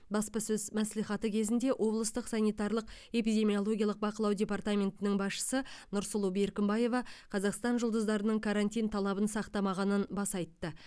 баспасөз мәслихаты кезінде облыстық санитарлық эпидемиологиялық бақылау департаментінің басшысы нұрсұлу беркімбаева қазақстан жұлдыздарының карантин талабын сақтамағанын баса айтты